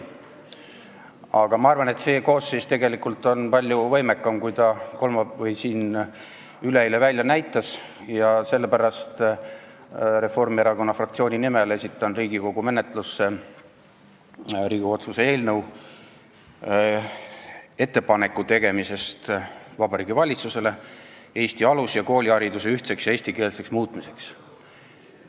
Aga ma arvan, et see koosseis on tegelikult palju võimekam, kui ta siin üleeile välja näitas, ja sellepärast esitan Reformierakonna fraktsiooni nimel parlamendi menetlusse Riigikogu otsuse "Ettepanek Vabariigi Valitsusele Eesti alus- ja koolihariduse ühtseks ja eestikeelseks muutmiseks" eelnõu.